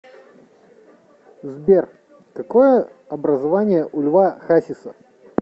сбер какое образование у льва хасиса